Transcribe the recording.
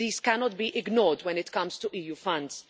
This cannot be ignored when it comes to EU funds.